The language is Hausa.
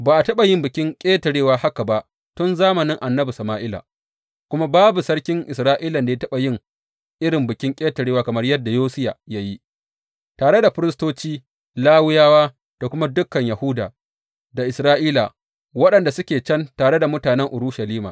Ba a taɓa yin Bikin Ƙetarewa haka ba tun zamanin annabi Sama’ila; kuma babu sarkin Isra’ilan da ya taɓa yin irin Bikin Ƙetarewa kamar yadda Yosiya ya yi, tare da firistoci, Lawiyawa da kuma dukan Yahuda da Isra’ila, waɗanda suke can tare da mutanen Urushalima.